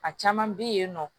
A caman bɛ yen nɔ